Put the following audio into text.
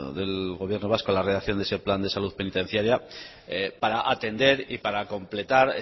del gobierno vasco la realización de ese plan de salud penitenciaria para atender y para completar